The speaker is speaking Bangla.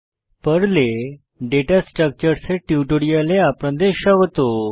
পর্লে দাতা স্ট্রাকচার্স ডেটা স্ট্রাকচারস এর টিউটোরিয়ালে আপনাদের স্বাগত